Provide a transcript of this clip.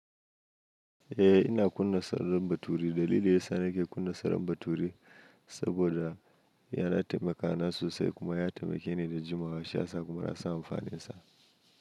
Eh ina kunna salon baturi. Dalili yasa nake kunna salon baturi saboda yana taimakawa nan sosai kuma ya taimake ni da jimawa. Shi ya sa kuma na sa amfani da shi.